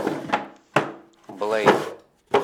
блэйд